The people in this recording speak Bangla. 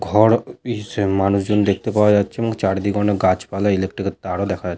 ঘর এবং মানুষজন দেখতে পাওয়া যাচ্ছে এবং চারিদিকে অনেক গাছপালা ইলেক্ট্রিক -এর তারও দেখা যা--